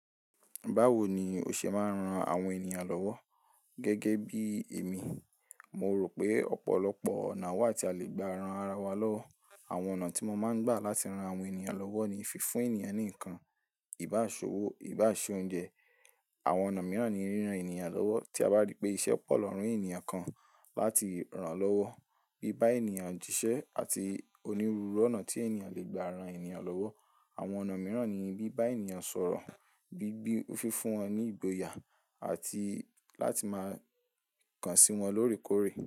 Báwo ni o ṣe máa ń ran àwọn ènìyàn lọ́wọ́ gẹ́gẹ́ bí èmi, mo rò pé ọ̀pọ̀lọpọ̀ ọ̀nà wà tí a lè gba ran ara wa lọ́wọ́. Àwọn ọ̀nà tí mo máa ń gbà láti ran àwọn ènìyàn lọ́wọ́ ni fífún ènìyàn ní nǹkan, ìbáṣòwò, ìbáṣe oúnjẹ. Àwọn ọ̀nà mìíràn ni ríran ènìyàn lọ́wọ́. Tí a bá rí pé iṣẹ́ pọ̀ lọ̀rùn ènìyàn kan, láti ràn án lọ́wọ́, bí bá ènìyàn jíṣẹ́ àti onírúurú ọ̀nà tí ènìyàn lè gba ran ènìyàn lọ́wọ́. Àwọn ọ̀nà mìíràn ni bí bá ènìyàn sọ̀rọ̀, bí bí fífún wọn ní ìgboyà àti láti máa kàn sí wọn lóòrèkóòrè.